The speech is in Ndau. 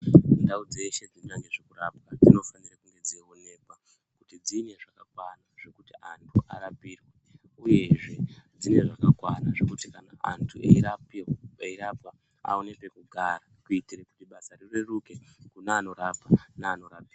Ndau dzeshe dzinoita ngezvekurapa dzinofanire kunge dzeionekwa kuti dzine zvakakwana zvekuti antu arapiwe uyezve dzine zvakakwana zvekuti kana antu eirapiwa eirapwa aone pekugara kuitire kuti basa rireruke kune anorapa neanorapiwa.